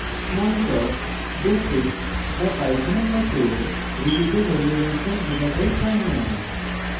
smalltalk basic বা python এর মত ruby তে ভ্যারিয়েবলসের ডেটাটাইপ হয় no